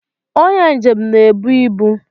Onye njem na-ebu ibu